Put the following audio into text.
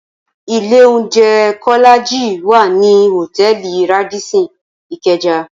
Ilé óunjè Kólàjí wá ni hótèlí Rádìsín Ikeja